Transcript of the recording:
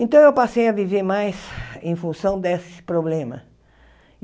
Então eu passei a viver mais em função desse problema.